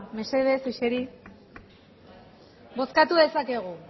bozkatu dezakegu